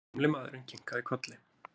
Gamli maðurinn kinkaði kolli.